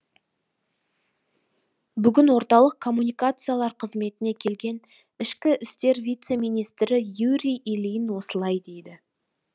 бүгін орталық коммуникациялар қызметіне келген ішкі істер вице министрі юрий ильин осылай деді